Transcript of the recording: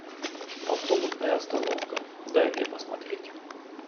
автобусная остановка дай мне посмотреть